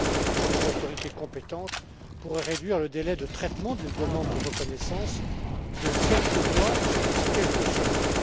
pour les autorités compétentes pourrait réduire le délai de traitement d'une demande de reconnaissance de quelques mois à quelques semaines.